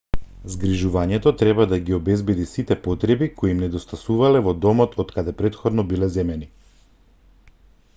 згрижувањето треба да ги обезбеди сите потреби кои им недостасувале во домот од каде претходно биле земени